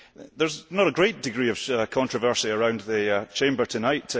There is not a great degree of controversy around the Chamber tonight.